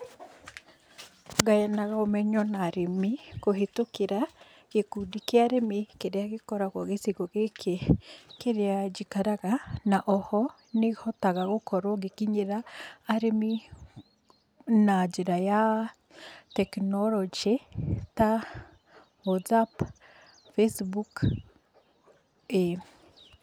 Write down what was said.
Ngayanaga ũmenyo na arĩmi kũhĩtũkĩra gĩkundi kĩa arĩmi kĩrĩa gĩkoragwo gĩcigo gĩkĩ kĩrĩa njikaraga, na o ho nĩhotaga gũkorwo ngĩkinyĩra arĩmi na njĩra ya tekinoronjĩ ta WhatsApp, Facebook, ĩĩ.